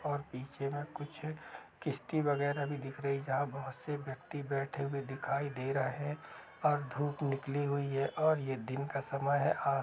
और पीछे में कुछ किश्ती वगैर भी दिख रही जहाँ बहुत से व्यक्ति बैठे हुए दिखाई दे रहा है और धूप निकली हुई है और यह दिन का समय है आज--